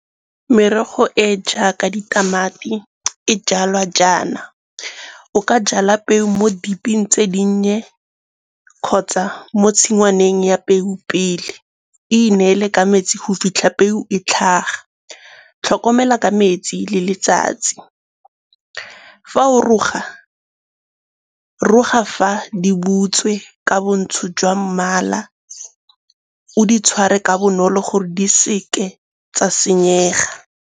Merogo e jaaka ditamati e jalwa jaana, o ka jala peo mo deep-eng tse dinnye kgotsa mo tshingwaneng ya peu pele, e inele ka metsi go fitlha peo e tlhaga. Tlhokomela ka metsi le letsatsi. Fa o roga, roga fa di butswe ka bontsho jwa mmala o di tshware ka bonolo gore di seke tsa senyega.